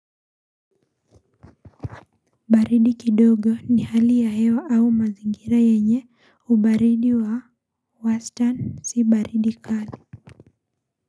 Baridi kidogo ni hali ya hewa au mazingira yenye ubaridi wa wastan si baridi kali.